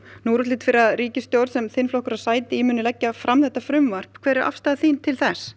nú er útlit fyrir að ríkisstjórnin sem þinn flokkur á sæti í muni leggja fram þetta frumvarp hver ef afstaða þín til þess